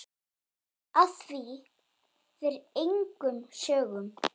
Af því fer engum sögum.